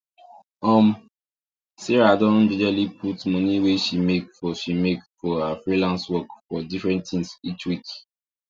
um sarah don jejely put money wey she make for she make for her freelance work for different things each week